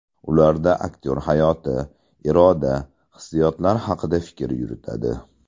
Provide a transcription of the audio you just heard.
Ularda aktyor hayot, iroda, hissiyotlar haqida fikr yuritadi.